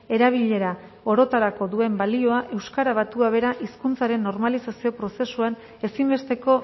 erabilera orotarako duen balioa euskara batua bera hizkuntzaren normalizazio prozesuan ezinbesteko